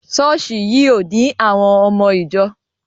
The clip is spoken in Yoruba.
Ṣọ́ọ̀ṣì yìí ò ní àwọn ọmọ ìjọ.